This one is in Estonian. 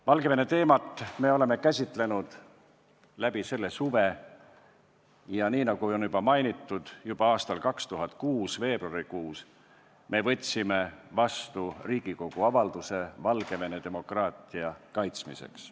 Me oleme Valgevene teemat käsitlenud läbi selle suve, ja nagu enne mainitud, võtsime juba 2006. aasta veebruarikuus vastu Riigikogu avalduse Valgevene demokraatia kaitsmiseks.